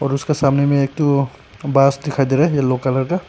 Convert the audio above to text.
और उसका सामने में एक ठो बांस दिखाई दे रहा है यलो कलर का।